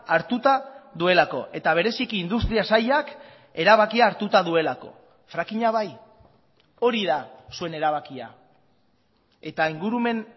hartuta duelako eta bereziki industria sailak erabakia hartuta duelako frackinga bai hori da zuen erabakia eta ingurumen